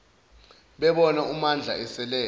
bebona umandla eselele